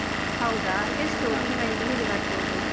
ಹೌದಾ, ಎಷ್ಟು ತಿಂಗಳಿಗೆ ಹೇಗೆ ಕಟ್ಬೋದು?